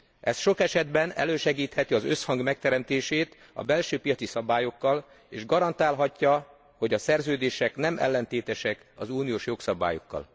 Ez sok esetben elősegítheti az összhang megteremtését a belső piaci szabályokkal, és garantálhatja, hogy a szerződések ne legyenek ellentétesek az uniós jogszabályokkal.